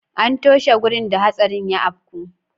An toshe wurin da hatsarin ya afku.